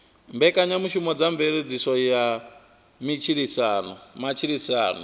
mbekanyamushumo dza mveledziso ya matshilisano